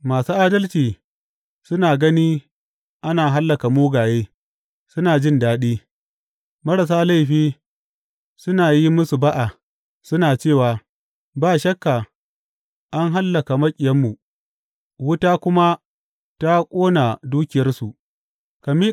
Masu adalci suna gani ana hallaka mugaye, suna jin daɗi; marasa laifi suna yi musu ba’a, suna cewa, Ba shakka an hallaka maƙiyanmu, wuta kuma ta ƙona dukiyarsu.’